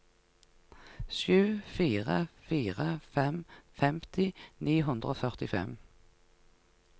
sju fire fire fem femti ni hundre og førtifem